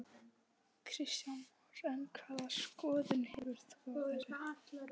Kristján Már: En hvaða skoðun hefur þú á þessu?